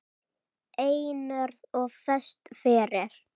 Einörð og föst fyrir.